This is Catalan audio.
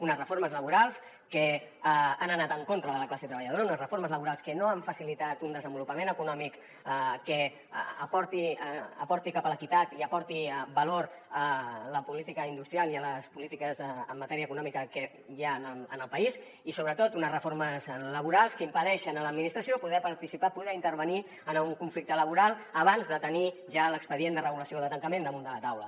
unes reformes laborals que han anat en contra de la classe treballadora unes reformes laborals que no han facilitat un desenvolupament econòmic que porti cap a l’equitat i aporti valor a la política industrial i a les polítiques en matèria econòmica que hi han en el país i sobretot unes reformes laborals que impedeixen a l’administració poder participar poder intervenir en un conflicte laboral abans de tenir ja l’expedient de regulació de tancament damunt de la taula